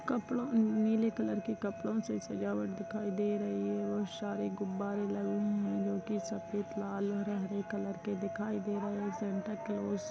कपड़ो से नीले कलर के कपड़ो से सजावट दिखाई दे रही है बहुत सारे गुब्बारे लगे हुए हैं जो सफेद लाल या हरे रंग के दिखाई दे रहे हैं सेंटा क्लोज --